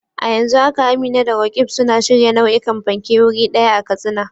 A yanzu haka Amina da Roqeeb suna shirya nau'ikan fanke wuri ɗaya a Katsina.